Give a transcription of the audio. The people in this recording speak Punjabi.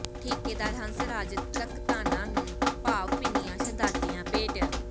ਠੇਕੇਦਾਰ ਹੰਸ ਰਾਜ ਧਕਤਾਣਾ ਨੂੰ ਭਾਵ ਭਿੰਨੀਆਂ ਸ਼ਰਧਾਂਜਲੀਆਂ ਭੇਟ